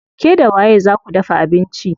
Ke da waye zaa ku dafa abinci?